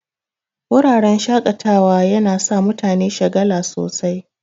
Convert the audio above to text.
Wuraren shaƙatawa yana sa mutane shagala sosai